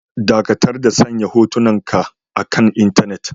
Dakatar da sanya hotunanku akan intanet.